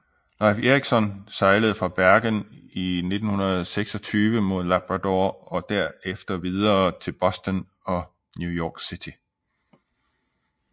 Leif Erikson sejlede fra Bergen i 1926 mod Labrador og derefter videre til Boston og New York City